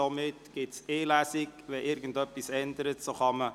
Somit findet nur eine Lesung statt.